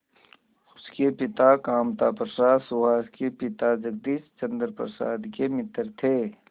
उसके पिता कामता प्रसाद सुहास के पिता जगदीश चंद्र प्रसाद के मित्र थे